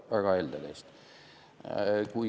Väga helde teist!